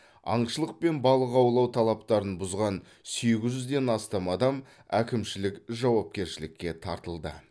аңшылық пен балық аулау талаптарын бұзған сегіз жүзден астам адам әкімшілік жауапкершілікке тартылды